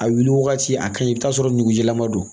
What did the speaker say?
A wuli wagati a kaɲi i bi t'a sɔrɔ nugu jɛman don